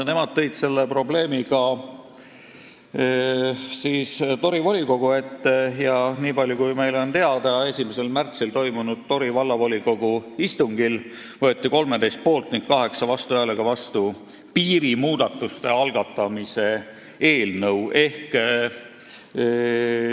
Nemad tõid selle probleemi Tori volikogu ette ning meie teada võeti 1. märtsil toimunud Tori Vallavolikogu istungil 13 poolt- ja 8 vastuhäälega vastu otsus alustada läbirääkimisi piirimuudatuste üle.